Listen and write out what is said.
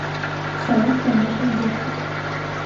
салют конечно детка